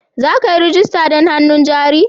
Za ka yi rajista don hannun jari?